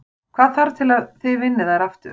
Hvað þarf til að þið vinnið þær aftur?